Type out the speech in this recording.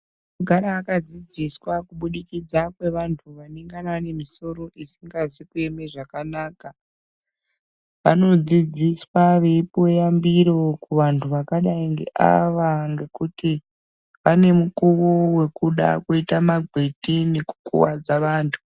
Kugara akadziziswa kubudikidza ngevanthu vanogana vane misoro isikazi kueme zvakanaka. Vanodzidziswa veipuve yambiro kuvanthu vakadai ngeava ngekuti vane mukuwo wekuda kuita magwiti nukukuwadza vanthu.